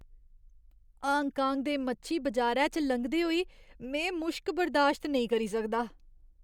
Hong Kong दे मच्छी बजारै च लंघदे होई में मुश्क बर्दाश्त नेईं करी सकदा।